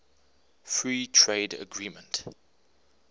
free trade agreement